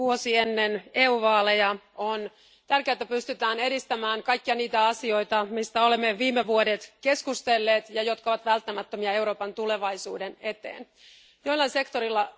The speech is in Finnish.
Vuosi ennen EU vaaleja on tärkeää, että pystytään edistämään kaikkia niitä asioita, joista olemme viime vuodet keskustelleet ja jotka ovat välttämättömiä Euroopan tulevaisuuden kannalta.